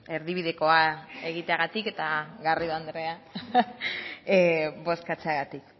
erdibidekoa egiteagatik eta garrido andrea bozkatzeagatik